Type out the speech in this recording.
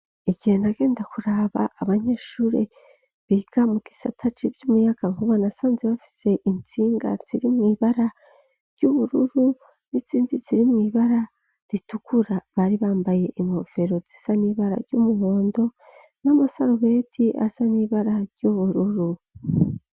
Igihe nagenda kuraba abanyeshure biga muka isataci vy'umuyaka nkubanasanze bafise intsingatsirimw'ibara ry'ubururu n'isindizi rimw'ibara ritukura bari bambaye ingofero zisa n'ibara ry'umuhondo n'amasarubeti asa n'ibara ry'ubururu.